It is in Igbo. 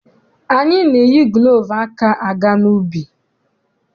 Anyị na-eyi gulovu aka aga n'ubi.